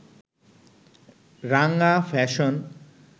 রাঙা ফ্যাশন